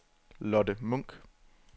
Lotte Munk